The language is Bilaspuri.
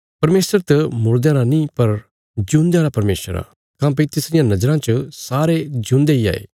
परमेशर त मुड़दयां राँ नीं पर ज्यून्दया रा परमेशर आ काँह्भई तिसरिया नज़राँ च सारे ज्यून्दे इ हाये